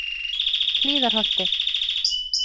Hlíðarholti